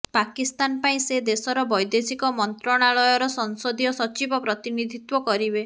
ପାକିସ୍ତାନପାଇଁ ସେଦେଶର ବୈଦେଶିକ ମନ୍ତ୍ରଣାଳୟର ସଂସଦୀୟ ସଚିବ ପ୍ରତିନିଧିତ୍ୱ କରିବେ